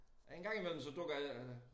En gang imellem så dukker jeg